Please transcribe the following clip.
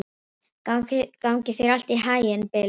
Gangi þér allt í haginn, Bylur.